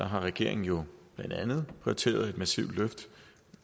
har regeringen jo blandt andet prioriteret et massivt løft